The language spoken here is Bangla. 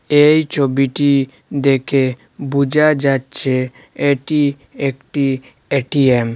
এই ছবিটি দেখে বুঝা যাচ্ছে এটি একটি এ_টি_এম ।